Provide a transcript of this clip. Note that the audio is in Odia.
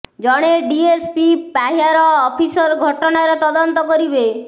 ଜଣେ ଡିଏସ୍ ପି ପାହ୍ୟାର ଅଫିସର ଘଟଣାର ତଦନ୍ତ କରିବେ